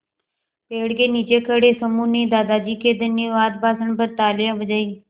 पेड़ के नीचे खड़े समूह ने दादाजी के धन्यवाद भाषण पर तालियाँ बजाईं